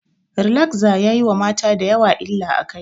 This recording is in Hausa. Rilagza yayi wa mata dayawa illa a kai